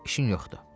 İşin yoxdur.